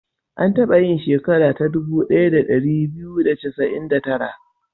An taba yin sheka ta dubu ɗaya da ɗari biyu da casa'in da tara.